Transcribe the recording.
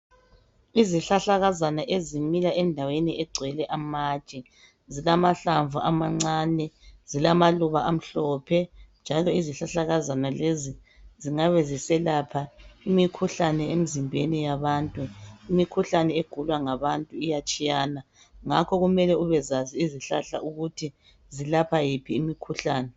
Izihlahlakazana ezimila endaweni egcwele lamatshe zilamahlamvu amancane zilamaluba amhlophe njalo izihlahlakazana lezi zingabe ziselapha imikhuhlane emzimbeni yabantu, imkhuhlane egulwa ngabantu iyatshiyana ngakho kumele ubezazi izihlahla ukuthi zilapha yiphi imikhuhlane.